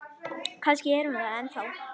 Kannski er hún það ennþá.